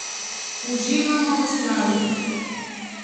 Uživamo v slavju.